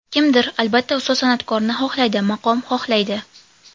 Kimdir, albatta, ustoz san’atkorni xohlaydi, maqom xohlaydi.